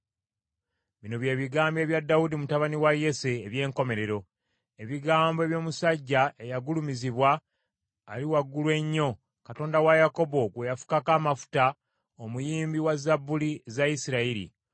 Bino bye bigambo ebya Dawudi, mutabani wa Yese, eby’enkomerero: ebigambo eby’omusajja eyagulumizibwa, Ali Waggulu ennyo, Katonda wa Yakobo gwe yafukako amafuta, omuyimbi wa Zabbuli za Isirayiri: